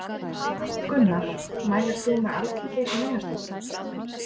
Gunnar: Mælir þú með Alþingi sem vinnustað?